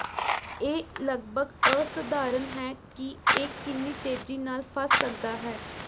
ਇਹ ਲਗਭਗ ਅਸਾਧਾਰਣ ਹੈ ਕਿ ਇਹ ਕਿੰਨੀ ਤੇਜ਼ੀ ਨਾਲ ਫਸ ਸੱਕਦਾ ਹੈ